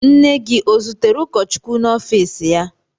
Nne gị o zutere ụkọchukwu n'ọfiisi ya?